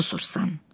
Susursan.